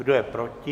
Kdo je proti?